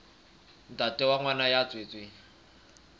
ntate wa ngwana ya tswetsweng